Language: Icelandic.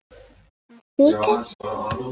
Hann stikar.